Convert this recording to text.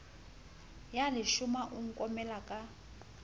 ya leshoma o nkomela ka